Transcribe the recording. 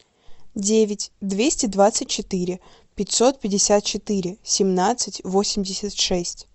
девять двести двадцать четыре пятьсот пятьдесят четыре семнадцать восемьдесят шесть